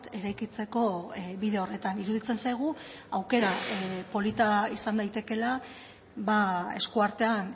eraikitzeko bide horretan iruditzen zaigu aukera polita izan daitekeela eskuartean